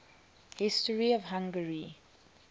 history of hungary